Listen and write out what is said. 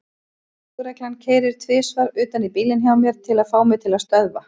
Lögreglan keyrir tvisvar utan í bílinn hjá mér til að fá mig til að stöðva.